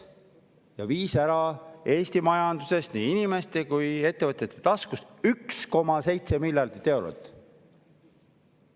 See viis Eesti majandusest, nii inimeste kui ka ettevõtjate taskust ära 1,7 miljardit eurot.